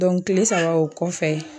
Dɔnku kile saba o kɔfɛ